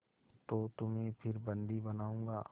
तो तुम्हें फिर बंदी बनाऊँगा